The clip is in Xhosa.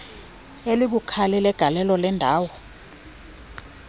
elibukhali legalelo lendalo